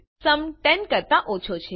sum 10 કરતા ઓછો છે